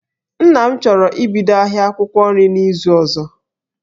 Nna m chọrọ ibido ahia akwụkwọ nri n'izu ozo